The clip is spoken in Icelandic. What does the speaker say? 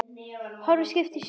Horfir á skipin og sjóinn.